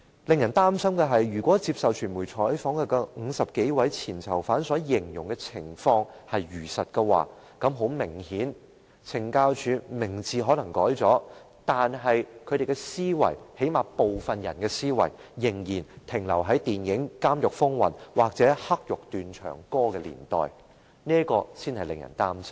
更使人擔心的是，如果接受傳媒採訪的50多位前囚犯所形容的情況屬實，明顯地，懲教署的名字可能改變了，但它的思維，最低限度是有部分人的思維，卻仍然停留在電影"監獄風雲"或"黑獄斷腸歌"的年代，這才是令人擔心的。